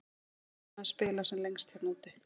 Auðvitað vill maður spila sem lengst hérna úti.